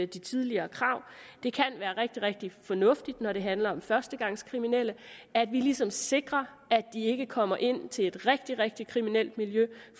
de tidligere krav det kan være rigtig rigtig fornuftigt når det handler om førstegangskriminelle at vi ligesom sikrer at de ikke kommer ind til et rigtig rigtig kriminelt miljø